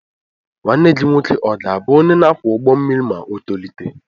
Nwa gị nwoke ọ̀ ga-abụ onye na-akwọ ụgbọ mmiri ma o tolite?